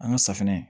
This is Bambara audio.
An ka safinɛ